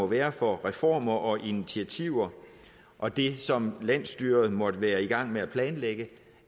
være for reformer og initiativer og det som landsstyret måtte være i gang med at planlægge